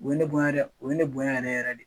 O ye ne bonya dɛ o ye ne bonya yɛrɛ yɛrɛ de.